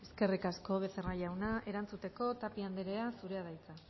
eskerrik asko becerra jauna erantzuteko tapia andrea zurea da hitza